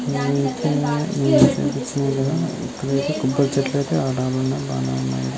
ఎటే ఏటే ఇక్కడైతే కొబ్బరి చెట్లు బానే ఉన్నాయి.